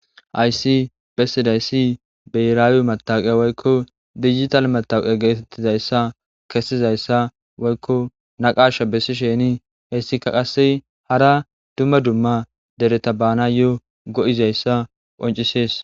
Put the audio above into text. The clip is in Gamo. Hayssi bessidayissi biherrawe mtawekiya woyikko dijittale metaweqqa gettetizayisa kesizayissa woyikko naqqsha besizayisa hessika qase hara duma duma dereta bannayo go'izayissa qonccisess.